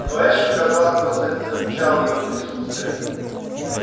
но эшли казалось просто не замечал её присутствия